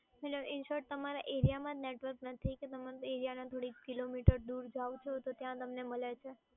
મતલબ in short તમારા એરિયામાં જ નેટવર્ક નથી કે તમે એરિયાના થોડીક કિલોમીટર દૂર જાઓ છો તો ત્યાં તમને મળે છે.